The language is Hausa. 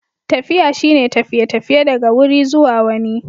Tafiya shine tafiye-tafiye daga wuri zuwa wani.